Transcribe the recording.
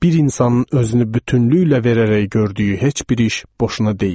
Bir insanın özünü bütünlüklə verərək gördüyü heç bir iş boşuna deyil.